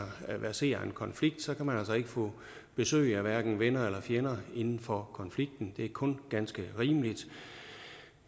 verserer en konflikt kan man altså ikke få besøg af hverken venner eller fjender inden for konflikten det er kun ganske rimeligt